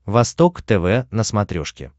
восток тв на смотрешке